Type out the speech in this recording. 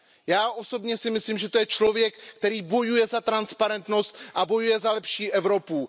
Já osobně si myslím, že to je člověk, který bojuje za transparentnost a bojuje za lepší Evropu.